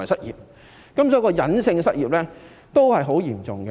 因此，隱性失業也是很嚴重的。